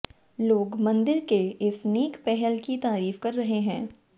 लोग मंदिर के इस नेक पहल की तारीफ कर रहे हैं